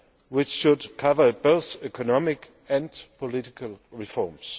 which should cover both economic and political reforms.